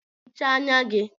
Hichaa anya gị!